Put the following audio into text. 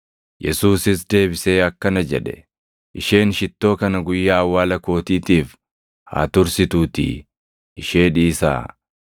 Yesuusis deebisee akkana jedhe; “Isheen shittoo kana guyyaa awwaala kootiitiif haa tursituutii ishee dhiisaa.